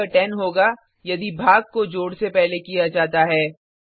या यह 10 होगा यदि भाग को जोड से पहले किया जाता है